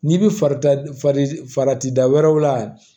N'i bi fari ti da wɛrɛw la